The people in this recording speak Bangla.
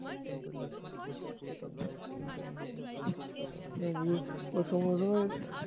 নে বুজ ও সঙ্গে সঙ্গে